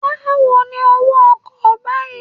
Báwo ni owó ọkọ̀ báyìí?